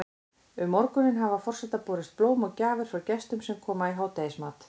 Um morguninn hafa forseta borist blóm og gjafir frá gestum sem koma í hádegismat.